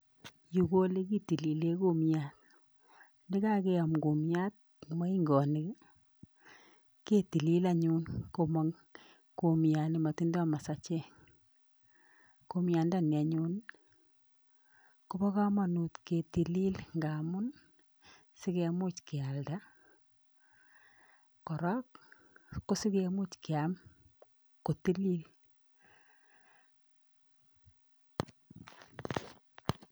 Yuu ko elekitilile kumiat nekakeyom kumiat en moing'onik ketilil anyun komong kumiat nemotindo masachek, kumiandani anyun kobokomonut kitilili ng'amun sikemuch kealda kora kosikemuch kiam kotilil.